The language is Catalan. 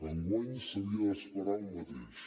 enguany s’havia d’esperar el mateix